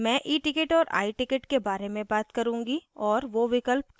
मैं eticket और iticket के बारे में बात करुँगी और वो विकल्प क्या हैं